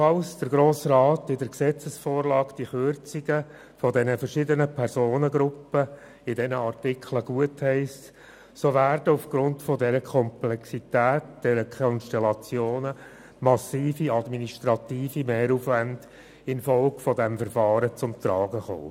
Falls der Grosse Rat die in der Gesetzesvorlage enthaltenen Kürzungen bei den verschiedenen Personengruppen in den verschiedenen Artikeln gutheisst, so werden aufgrund der Komplexität und der Konstellationen massive administrative Mehraufwendungen infolge des Verfahrens zum Tragen kommen.